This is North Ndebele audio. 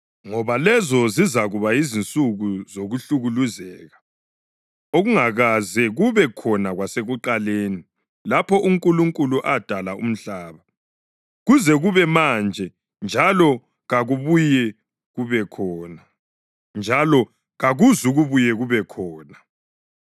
ngoba lezo zizakuba yizinsuku zokuhlukuluzeka okungakaze kube khona kwasekuqaleni, lapho uNkulunkulu adala umhlaba, kuze kube manje, njalo kakuzukubuye kube khona.